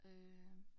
Øh